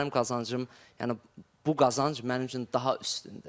Mənim qazancım, yəni bu qazanc mənim üçün daha üstündür.